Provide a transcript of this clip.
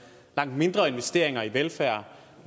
langt mindre investeringer i velfærd